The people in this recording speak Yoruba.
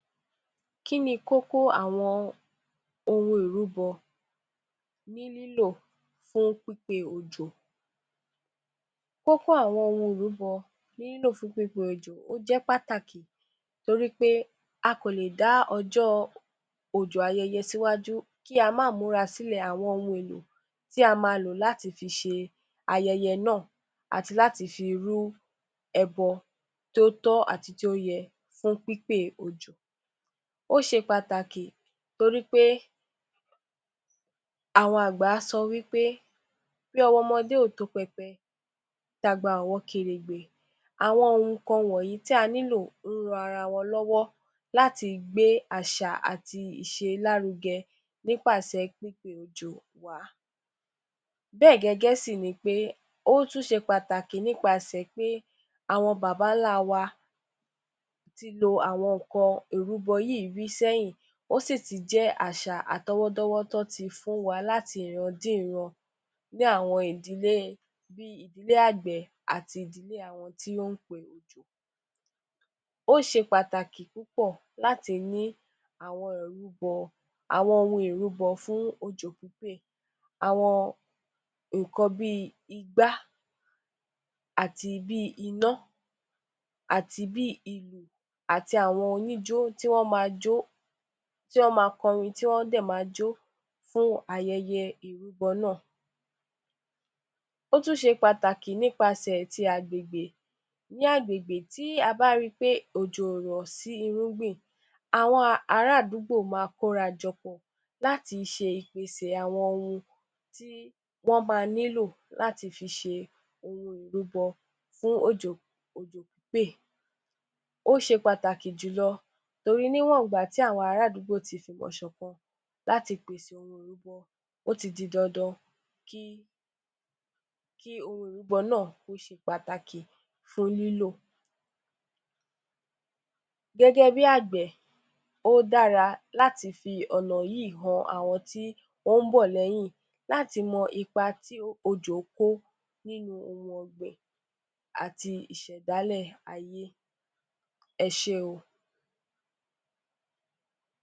Kí ni kókó àwọn ohun ìrúbọ ni lílo fún pípé òjò: kókó àwọn ohun ìrúbọ ni lílo òjò ó jẹ pàtàkì nítorí pé a kò le da ọjọ́ ayẹyẹ òjò síwájú, kí a máa múra sílẹ̀ àwọn ohun èlò tí a máa lo láti fi ṣe ayẹyẹ náà, láti fi rú ẹbọ tí ó tọ́ àti ti ó yẹ fún pípé òjò. Ó ṣe pàtàkì torí pé, àwọn àgbà sọ wí pé, " bí ọwọ́ ọmọdé ò tó pẹpẹ, tí àgbà ò wo kèrègbè" àwọn nǹkan wọ̀nyí tí a nílò ń ran ara wọn lọ́wọ́ láti gbé àṣà àti ìṣe lárugẹ nípasẹ̀ pípe òjò wá. Bẹ́ẹ̀ gẹ́gẹ́ sí ní pé, ó tún ṣé pàtàkì nípasẹ̀ pé, àwọn Bàbá ńlá wa ti lo àwọn nǹkan ìrúbọ yìí rí sẹ́yìn, ó sí tí jẹ́ àṣà àtọ̀wọ́dọ́wọ́ tí wọn tí fí fún wa láti ìran dé ìran bí àwọn ìdílé, bí ìdílé agbẹ̀ àti ìdílé àwọn tí ó ń pe òjò. Ó ṣe pàtàkì púpọ̀ láti ní àwọn ìrúbọ, àwọn ohun ìrúbọ fún òjò pípè, àwọn nǹkan bí igbá àti bí iná àti bí ìlù, àti àwọn tí wọn máa jó, tí wọn máa kọrin, tí wọn dẹ̀ máa jó fún ayẹyẹ ìrúbọ náà. Ó tún ṣé pàtàkì nípasẹ̀ tí agbègbè, ní agbègbè tí a bá a rí pé òjò ò rọ́ sí irúgbìn, àwọn ará àdúgbò máa kó ara jọ pọ̀ láti ṣe ìpèsè àwọn ohun tí wọn máa nílò láti fi ṣe ohun ìrúbọ fún òjò, òjò pípè ó ṣe pàtàkì jù lọ torí níwọ̀n ìgbà tí àwọn ara àdúgbò tí fi ìwọnṣọ̀kan láti pèsè ohun ìrúbọ, ó ti di dandan kí ohun ìrúbọ náà kó ṣe pàtàkì fún lílo. Gẹ́gẹ́ bí agbẹ̀, ó dára láti fi ọ̀nà yìí han àwọn tí ó ń bọ̀ lẹ́yìn láti mọ ipa tí òjò kó nínú ohun ọgbìn àti ìṣẹ̀dálẹ̀ ayé. Ẹ ṣe óò.